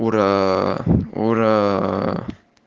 ура ура